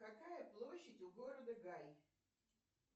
какая площадь у города гай